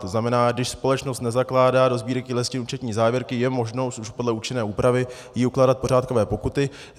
To znamená, když společnost nezakládá do Sbírky listin účetní závěrky, je možnost už podle účinné úpravy jí ukládat pořádkové pokuty.